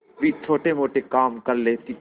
भी छोटेमोटे काम कर लेती थी